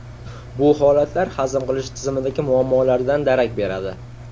Bu holatlar hazm qilish tizimidagi muammolardan darak beradi.